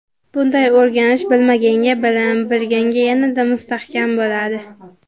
Bunday o‘rganish bilmaganga bilim, bilganga yanada mustahkam bo‘ladi.